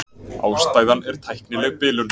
Ástæðan er tæknileg bilun